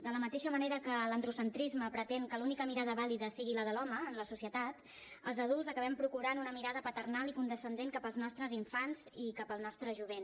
de la mateixa manera que l’androcentrisme pretén que l’única mirada vàlida sigui la de l’home en la societat els adults acabem procurant una mirada paternal i condescendent cap als nostres infants i cap al nostre jovent